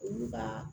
Olu ka